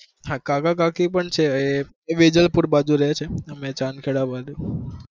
હા કાકા-કાકી પણ છે, પણ એ વેજલપુર બાજુ રહે છે, અમે ચાંદખેડા બાજુ.